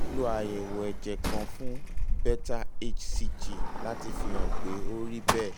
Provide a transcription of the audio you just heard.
a nílò àyẹ̀wò ẹ̀jẹ̀ kan fún beta hcg láti fihàn pé ó rí bẹ́ẹ̀